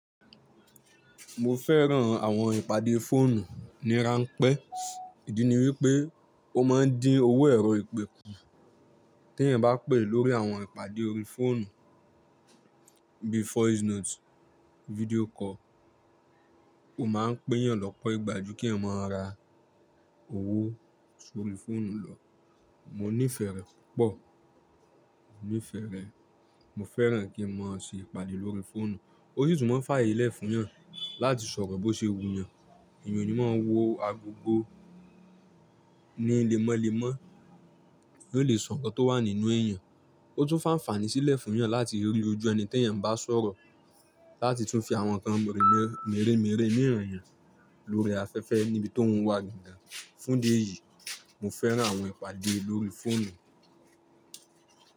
Mo fẹ́ràn àwọn ìpàdé fóònù ní ranpẹ́. Ìdí ni wípé ó máa ń dín owó ẹ̀rọ ìpè kù. Tí èyàn bá pè lórí àwọn ìpàdé orí fóònù bíi voice note, video call, ó máa ń pé èyàn lọ́pọ̀ ìgbà ju kí èèyàn máa ra owó sórí fóònù lọ. Mo nífẹ̀ẹ́ rẹ̀ púpọ̀, mo nífẹ̀ẹ́ rẹ̀. Mo fẹ́ràn kí n máa ṣe ìpàdé lórí fóònù. Ó sì tún máa ń fa àyè lẹ̀ fún èèyàn láti sọ̀rọ̀ bó ṣe wù yàn. Èyàn ò ní máa wo agogo ni lẹ́mọ́lẹ́mọ́ eeyan oó lè sọ nǹkan tó wà nínú ẹ́eyàn. Ó tún máa ń fi anfààní sílẹ̀ fún èèyàn láti rí ojú ẹni tí èyàn bá ń sọ̀rọ̀ láti tún fi àwọn nǹkan mèremère mìí ràn yàn lórí afẹ́fẹ́ níbi tóun wà gangan. Fún idí ẹ̀yì, mo fẹ́ràn àwọn ìpàdé lórí fóònù.